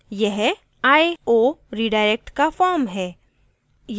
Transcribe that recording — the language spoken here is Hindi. यह i/o redirect का form है